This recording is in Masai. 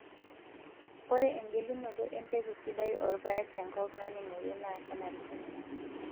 Ore engelunoto empeku sidai oorpaek tenkop naning'ore naa kenarikino.